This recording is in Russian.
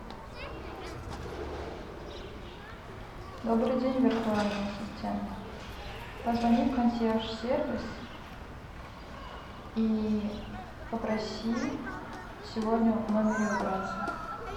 добрый день виртуальный ассистент позвони в консьерж сервис и попроси сегодня в номере убраться